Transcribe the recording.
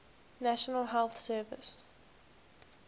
national health service